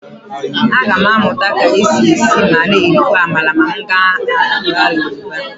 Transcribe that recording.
Aga m amụta ka e si esi ma na-erikwa amala ma m gaa ala Yoruba.